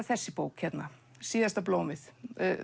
þessi bók hérna síðasta blómið